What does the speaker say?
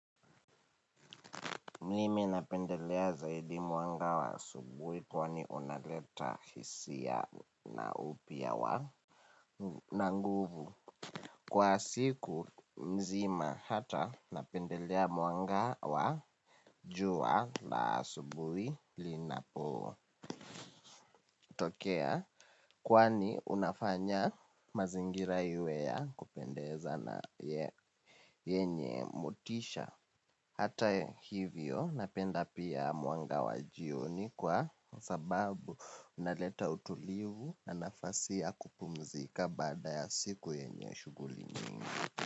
Mlimi napendelea zaidi muanga wa asubuhi kwani unaleta hisia na upia wa nanguvu. Kwa siku nzima hata napendelea muanga wa juwa la asubuhi linapo tokea kwani unafanya mazingira iwe ya kupendeza na yenye mutisha. Hata hivyo napenda pia muanga wajioni kwa sababu unaleta utulivu na nafasi ya kupumzika baada ya siku yenye shuguli nyingi.